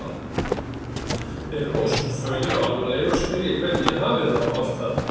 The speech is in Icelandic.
Þeir eru ósköp fölir og alvarlegir og spyrja hvernig ég hafi það og allt það.